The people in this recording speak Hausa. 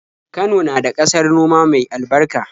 Kano na da ƙasar noma mai albarka.